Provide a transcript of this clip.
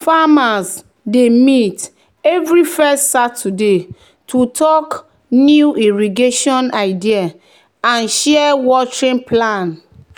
"farmers dey meet every first saturday to talk new irrigation idea and share watering plan.